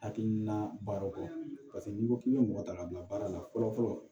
Hakilina baaraw kɔ paseke n'i ko k'i be mɔgɔ ta ka bila baara la fɔlɔ fɔlɔ